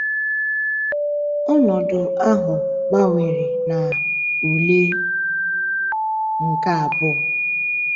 Ọnọdụ ahụ gbanwere na ule nke abụọ.